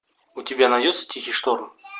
у тебя найдется тихий шторм